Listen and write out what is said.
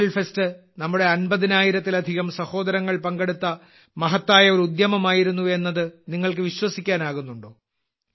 purple fest നമ്മുടെ 50000ത്തിലധികം സഹോദരങ്ങൾ പങ്കെടുത്ത മഹത്തായ ഒരു ഉദ്യമമായിരുന്നു എന്നത് നിങ്ങൾക്ക് വിശ്വസിക്കാനാകുന്നുണ്ടോ